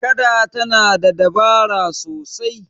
kada tana da dabara sasai